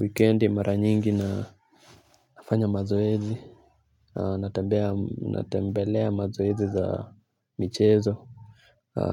Wikendi mara nyingi nafanya mazoezi. Natembelea mazoezi za michezo